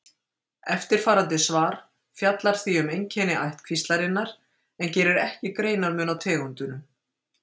eftirfarandi svar fjallar því um einkenni ættkvíslarinnar en gerir ekki greinarmun á tegundunum